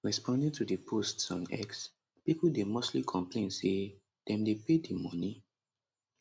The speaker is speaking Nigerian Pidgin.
responding to di posts on x pipo dey mostly complain say dem dey pay di money